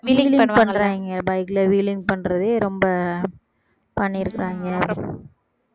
wheeling பண்றாங்க bike ல wheeling பண்றதே ரொம்ப பண்ணியிருக்காங்க